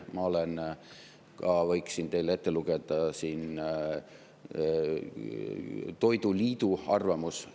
Ma võiks siin teile ette lugeda toiduliidu arvamuse selle kohta.